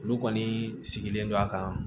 Olu kɔni sigilen don a kan